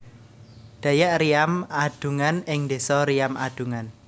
Dayak Riam Adungan ing desa Riam Adungan